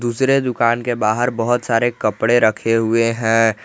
दूसरे दुकान के बाहर बहुत सारे कपड़े रखे हुए हैं।